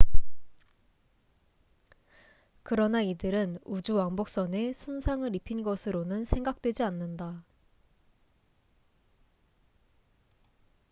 그러나 이들은 우주왕복선에 손상을 입힌 것으로는 생각되지 않는다